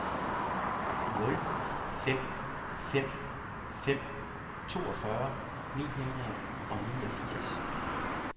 nul fem fem fem toogfyrre ni hundrede og niogfirs